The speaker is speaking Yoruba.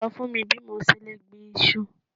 Sọ fún mi bí mo ṣe lè gbin iṣu.